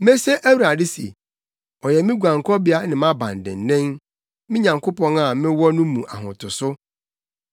Mese Awurade se, “Ɔyɛ me guankɔbea ne mʼabandennen, me Nyankopɔn a mewɔ no mu ahotoso.”